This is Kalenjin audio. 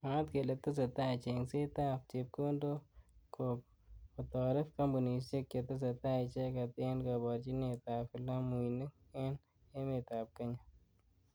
Mwaat kele tesetai chengset ab chepkondok kok kotoret kampunishek chetesetai icheket eng kaborjinet ab vilamuinik eng emet ab kenya.